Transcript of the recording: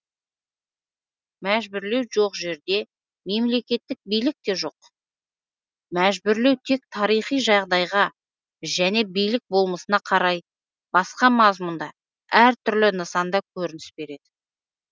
мәжбүрлеу жоқ жерде мемлекеттік билік те жоқ мәжбүрлеу тек тарихи жағдайға және билік болмысына қарай басқа мазмұнда әр түрлі нысанда көрініс береді